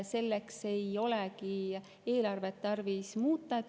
Selleks ei olegi eelarvet tarvis muuta.